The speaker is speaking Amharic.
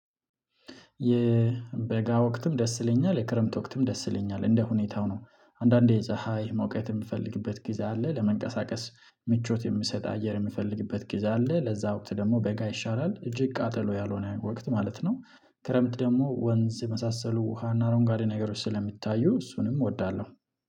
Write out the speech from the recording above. የበጋ ወቅትም ደስ ይለኛል የክረምት ወቅትም ደስ ይለኛል እንደ ሁኔታው ነው አንዳንዴ የዛሃ ይህ መውቀት የምፈልግበት ጊዜ አለ ለመንቀሳቀስ ምቾት የምሰጥ አየር የምፈልግበት ጊዜ አለ ለዛ ወቅት ደግሞ በጋ ይሻላል እጅግ ቃጠሎ ያልሆነ ያውቅ ወቅት ማለት ነው። ክረምት ደግሞ ወንዝ የመሳሰሉ ውሃና አሮንጋዴ ነገሮች ስለሚታዩ እሱንም እወዳለሁ